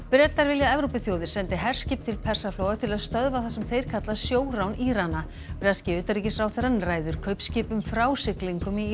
Bretar vilja að Evrópuþjóðir sendi herskip til Persaflóa til að stöðva það sem þeir kalla sjórán Írana breski utanríkisráðherrann ræður kaupskipum frá siglingum í